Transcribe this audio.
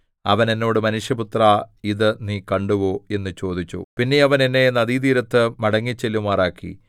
അവൻ എന്നോട് മനുഷ്യപുത്രാ ഇത് നീ കണ്ടുവോ എന്നു ചോദിച്ചു പിന്നെ അവൻ എന്നെ നദീതീരത്തു മടങ്ങിച്ചെല്ലുമാറാക്കി